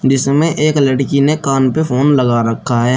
इसमें एक लड़की ने कान पे फोन लगा रखा है।